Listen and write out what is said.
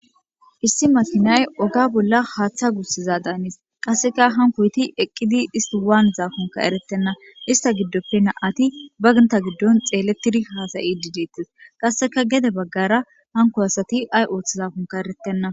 issi matinay oga bolla haaththa gussiza daanis qasseka hankoyti eqqidi isti waan zaakunka erettenna ista giddoppenna ati baginta giddon xeelettiri haasayi dideettes qasseka gede baggara hanko asati ay ooth zaafunka erettenna